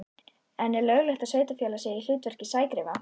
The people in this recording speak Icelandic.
En er löglegt að sveitarfélag sé í hlutverki sægreifa?